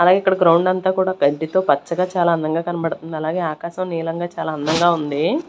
అలాగే ఇక్కడ గ్రౌండ్ అంతా కూడా గడ్డితో పచ్చగా చాలా అందంగా కనబడుతుంది అలాగే ఆకాశం నిలంగా చాలా అందంగా ఉంది.